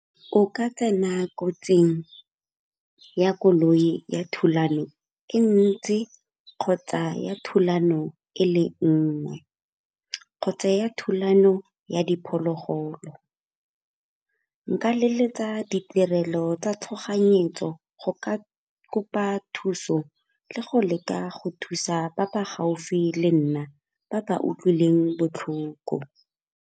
O ka tsena kotsing ya koloi ya thulano e ntsi kgotsa ya thulano e le nngwe kgotsa ya thulano ya diphologolo. Nka leletsa ditirelo tsa tshoganyetso go ka kopa thuso le go leka go thusa ba ba gaufi le nna ba ba utlwileng botlhoko.